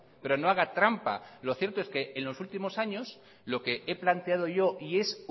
pero no haga trampa lo cierto es que en los últimos años lo que he planteado yo y es